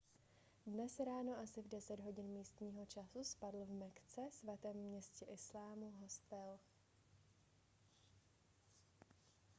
dnes ráno asi v 10 hodin místního času spadl v mekce svatém městě islámu hostel